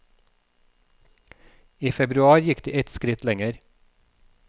I februar gikk de et skritt lenger.